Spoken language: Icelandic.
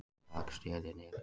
Rak stélið niður